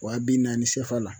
Waa bi naani CFA la